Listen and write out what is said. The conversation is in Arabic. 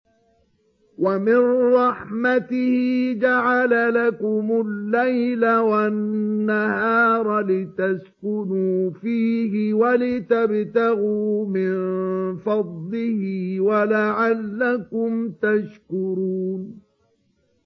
وَمِن رَّحْمَتِهِ جَعَلَ لَكُمُ اللَّيْلَ وَالنَّهَارَ لِتَسْكُنُوا فِيهِ وَلِتَبْتَغُوا مِن فَضْلِهِ وَلَعَلَّكُمْ تَشْكُرُونَ